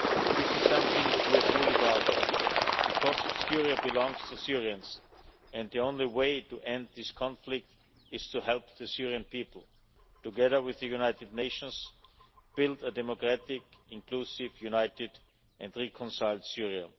This is something we are truly proud of because Syria belongs to the Syrians and the only way to end this conflict is to help the Syrian people, together with the United Nations, build a democratic, inclusive, united and reconciled Syria.